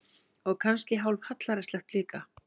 Og kannski hálf hallærislegt líka.